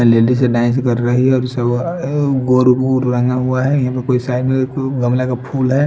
कर रही हैं गमला का फूल है।